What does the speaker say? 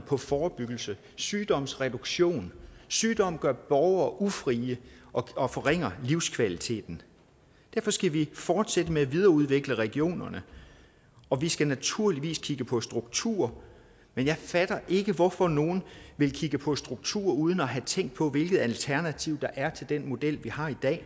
på forebyggelse og sygdomsreduktion sygdom gør borgere ufrie og forringer livskvaliteten derfor skal vi fortsætte med at videreudvikle regionerne og vi skal naturligvis kigge på strukturer men jeg fatter ikke hvorfor nogle vil kigge på strukturer uden at have tænkt på hvilket alternativ der er til den model vi har i dag